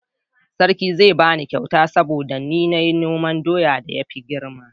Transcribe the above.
sarki zai bani kyauta saboda ni na yi noman doyan da ya fi girma